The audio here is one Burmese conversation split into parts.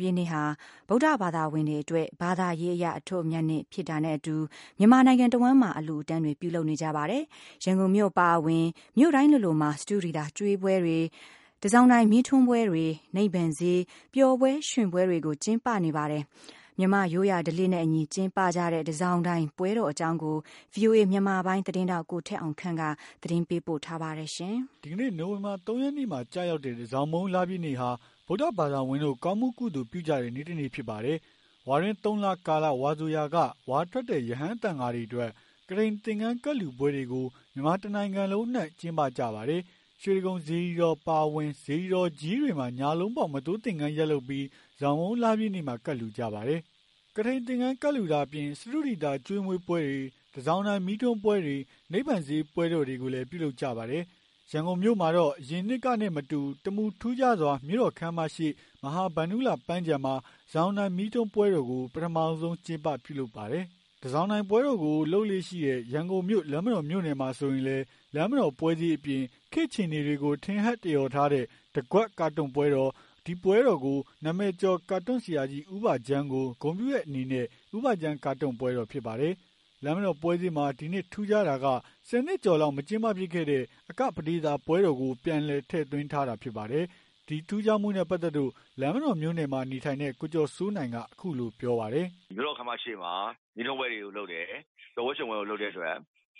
ပြည့်နေ့ဟာ ဗုဒ္ဓဘာသာဝင်တွေအတွက် ဘာသာရေးအရ အထွဋ်အမြတ်နေ့ဖြစ်တာနဲ့အတူ မြန်မာနိုင်ငံတဝန်းမှာ အလှူ အတန်းတွေပြုလုပ်နေကြ ပါတယ်။ ရန်ကုန်မြို့အပါအဝင် မြို့တိုင်းလိုလိုမှာ စတုဒီသာကျွေးပွဲတွေ။ တန်ဆောင်တိုင်မီးထွန်းပွဲတော်တွေ။ နိဗ္ဗာန်ဈေး ပျော်ပွဲရွှင်ပွဲတွေကို ကျင်းပနေပါတယ်။ မြန်မာ့ရိုးရာဓလေ့နဲ့အညီ ကျင်းပကြတဲ့ တန်ဆောင်တိုင်ပွဲတော် အကြောင်း ကို ဗွီအိုအေမြန်မာပိုင်း သတင်းထောက် ကိုထက်အောင်ခန့်က တင်ပြပေးပါမယ်။ ဒီကနေ့နိုဝင်ဘာ ၃ ရက်နေ့မှာကျရောက်တဲ့တန်ဆောင်မုန်းလပြည့်နေ့ဟာ ဗုဒ္ဓဘာသာဝင် တို့ကောင်းမှုကုသိုလ်ပြုကြတဲ့ နေ့တနေ့ဖြစ်ပါတယ်။ ဝါတွင်း ၃ လကာလ ဝါဆိုရာက ဝါထွက်တဲ့ ရဟန်းသံဃာတွေအတွက် ကထိန်သင်္ကန်းကပ်လှူပွဲတွေကို မြန်မာတနိုင်ငံလုံး အနှံ့ကျင်းပကြပါတယ်။ ရွှေတိဂုံစေတီတော်အပါအဝင် စေတီတော်ကြီးတွေမှာ ညလုံးပေါက် မသိုးသင်္ကန်းတွေယက်လုပ်ပြီး တန်ဆောင်မုန်းလပြည့်နေ့မှာ ကပ်လှူကြပါတယ်။ ကထိန်သင်္ကန်းကပ်လှူတာအပြင် စတုဒီသာကျွေးမွေးပွဲတွေ။ တန်ဆောင်တိုင် မီးထွန်းပွဲတော်တွေ နိဗ္ဗာန်ဈေးပွဲတော်တွေကိုလည်း ပြုလုပ်ကြပါတယ်။ ရန်ကုန်မြို့မှာတော့ အရင်နှစ်ကနဲ့မတူ တမူထူးခြားစွာ မြို့တော်ခန်းမရှေ့ မဟာဗန္ဓုလပန်းခြံမှာ တန်ဆောင်တိုင်မီးထွန်းပွဲတော်ကို ပထမဆုံးကျင်းပပြုလုပ်ပါတယ်။ တန်ဆောင်တိုင်ပွဲတော်ကို လုပ်လေ့ရှိတဲ့ ရန်ကုန်မြို့ လမ်းမတော်မြို့နယ်မှာဆိုရင်လည်း လမ်းမတော်ပွဲဈေးအပြင်။ ခေတ်အခြေအနေတွေကို ထင်ဟပ်သရော်ထားတဲ့ တကွက်ကာတွန်းပွဲတော်။ အဲဒီပွဲတော်ကတော့ နာမည်ကျော်ကာတွန်းဆရာကြီး ဦးဘဂျမ်းကို ဂုဏ်ပြုတဲ့အနေနဲ့ ဦးဘဂျမ်းကာတွန်းပွဲတော်ဖြစ်ပါတယ်။ လမ်းမတော်ပွဲဈေးမှာ ဒီနှစ်ထူးခြားတာက၁၀ နှစ်ကျော်လောက် မကျင်းပဖြစ်ခဲ့တဲ့ အကပဒေသာ ပွဲတော်ကိုပြန်လည် ထည့်သွင်းထားတာဖြစ်တဲ့အကြောင်း ဒီနှစ် ထူးခြားမှုနဲ့ပါတ်သက်လို့ လမ်းမတော်မြို့နယ်မှာနေထိုင်တဲ့ကိုကျော်စိုးနိုင်က ပြောပါတယ်။ "မြို့တော်ခမ်းမရှေ့မှာ မီးထွန်းပွဲတွေ လုပ်တယ်။ ပျော်ပွဲရွှင်ပွဲတွေ လုပ်တဲ့အတွက်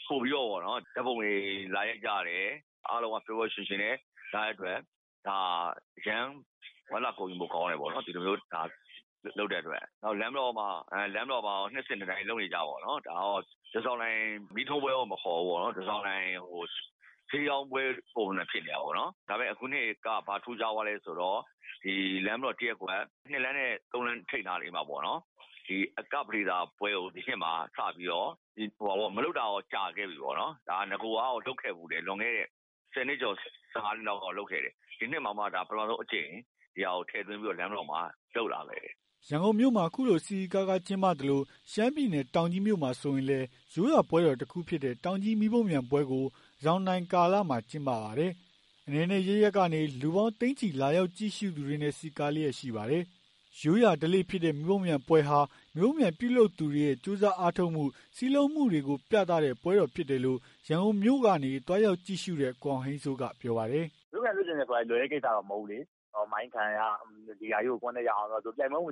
ပိုပြီးတော့ ဓာတ်ပုံတွေ လာရိုက်ကြတယ်။ အားလုံးက ပျော်ပျော်ရွှင်ရွှင်နဲ့ လာကြတဲ့ အတွက် အရမ်းဝမ်းသာဂုဏ်ယူဖို့ကောင်းတယ်။ ဒီလိုမျိုး လာလုပ်တဲ့အတွက် နောက် လမ်းမတော်မှာ တော့ နှစ်စဉ်နှစ်တိုင်း လုပ်နေကျပေါ့ တန်ဆောင်တိုင်မီးထွန်းပွဲ မခေါ်ပဲ တန်ဆောင်တိုင် ဈေးရောင်းပွဲ ပုံစံမျိုးဖြစ်နေတာပေါ့နော် ဒါပေမဲ့ အခုနှစ်က ဘာထူးခြားသွားလဲ ဆိုတော့ လမ်းမတော် ၁ရပ်ကွက် ၂လမ်းနဲ့ ၃လမ်းထိပ်နားလေးနားမှာ အကပဒေသာကပွဲကို ဒီနှစ်မှာ စပြီးတော့ မလုပ်တာတော့ ကြာခဲ့ပြီပေါ့နော် နဂိုကတော့ လုပ်ခဲ့ဖူးတယ် လွန်ခဲ့တဲ့ ၁၀နှစ်ကျော် ၁၅နှစ်လောက်က လုပ်ခဲ့တယ်။ ဒီနှစ်မှာတာ့ ပထမဆုံးအကြိမ် ထည့်သွင်းပြီးတော့ လမ်းမတော်မှာ လုပ်လာတယ်။" ရန်ကုန်မြို့မှာ ခုလို စည်စည်ကားကား ကျင်းပသလို ရှမ်းပြည်နယ်တောင်ကြီးမြို့မှာ ဆိုရင်လည်းရိုးရာပွဲတခုဖြစ်တဲ့ တောင်ကြီးမီးပုံးပျံပွဲကို တန်ဆောင်တိုင်ကာလမှာ ကျင်းပပါတယ်။ အနယ်နယ်အရပ်ရပ်ကနေ လူပေါင်း သိန်းချီလာရောက်ကြည့်ရှုသူတွေနဲ့ စည်းကားလျက်ရှိပါတယ်။ ရိုးရာဓလေ့ ဖြစ်တဲ့ မီးပုံးပျံပွဲဟာ မီးပုံးပျံပြုလုပ်သူတွေရဲ့ ကြိုးစားအားထုတ်မှု စည်းလုံးမှုတွေကို ပြသတဲ့ ပွဲဖြစ်တယ်လို့ ရန်ကုန်မြို့ကနေ သွားရောက်ကြည့်ရှုတဲ့ ကိုအောင်ဟိန်းစိုးကပြောပါတယ်။ "ရိုးရာဓလေ့ဆိုပေမဲ့ လွယ်တဲ့ကိစ္စတော့ မဟုတ်ဘူးလေ မှိုင်းခံရ ဒီဟာကြီးကို အပေါ်တက်အောင် လုပ်ရ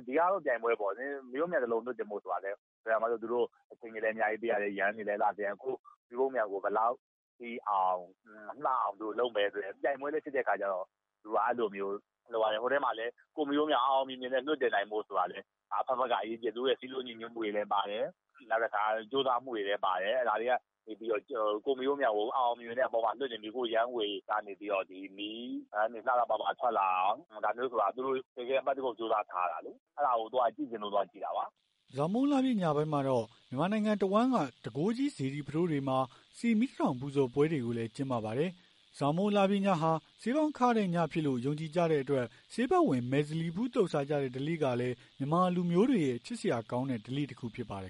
ဒီဟာကတော့ ပြိုင်ပွဲပေါ့လေ သူတို့က ယမ်းတွေနဲ့ လုပ်ရတယ် အလှဆင်ရတယ် ကိုယ့်မီးပုံးပံျကို ဘယ်လောက်ထိအောင် လှအောင် ဘယ်လိုလုပ်မလဲ ဆိုတဲ့ပြိုင်ပွဲလည်းဖြစ်တဲ့အခါကျတော့ ပွဲမှာလည်း ကိုယ့်မီးပုံပျံ အောင်အောင်မြင်မြင် လွှတ်တင်နိုင်ဖို့ အဘက်ဘက်က အရေးကြီးတယ်။ သူတို့ရဲ့စည်းလုံးညီညွတ်မှုတွေလည်း ပါတယ်။ ကြိုးစားမှုတွေလည်းပါတယ် ဒါတွေကနေပြီးတော့ မီးခိုးယမ်းတွေကနေ မီးပန်းတွေ လှလှပပ ထွက်လာအောင် ဒါမျိုးဆိုတာ သူတို့ အပတ်တကုတ်ကြိုးစား ထားရတယ်။ အဲ့တာကို သွားကြည့်လို့သွားကြည့်တာပါ။" တန်ဆောင်မုန်းလပြည့်နေ့ညပိုင်းမှာတော့ မြန်မာနိုင်ငံတဝန်းက တန်ခိုးကြိးစေတီ ပုထိုးဘုရားတွေမှာ ဆီမီး ၁ ထောင်ပူဇော်ပွဲတွေကိုလည်း ကျင်းပပါတယ်။ တန်ဆောင်မုန်းလပြည့်ညဟာ ဆေးပေါင်းခတဲ့ညဖြစ်တယ်လို့ ယုံကြည်ကြတဲ့အတွက် ဆေးဖက်ဝင် မယ်ဇလီဖူးသုတ်စားကြတဲ့ ဓလေ့ကလည်း မြန်မာလူမျိုးတွေရဲ့ ချစ်စရာကောင်းတဲ့ ဓလေ့တခု ဖြစ်ပါတယ်